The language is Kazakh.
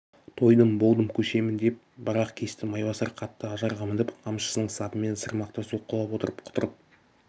тойдым болдым көшемін деп бір-ақ кесті майбасар қатты ажарға мініп қамшысының сабымен сырмақты соққылап отырып құтыртып